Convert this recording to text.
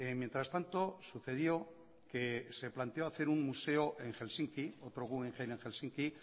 mientras tanto sucedió que se planteó hacer otro guggenheim en helsinki